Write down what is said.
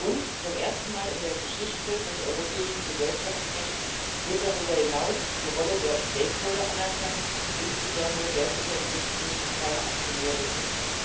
Und zum ersten Mal in der Geschichte des europäischen Gesellschaftsrechts wird darüber hinaus die Rolle der Stakeholder anerkannt insbesondere der Beschäftigten, die keine Aktionäre sind.